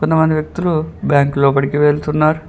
కొంతమంది వ్యక్తులు బ్యాంకు లోపటికి వెళ్తున్నారు.